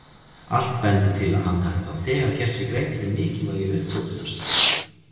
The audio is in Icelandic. Allt bendir til að hann hafi þá þegar gert sér grein fyrir mikilvægi uppgötvunar sinnar.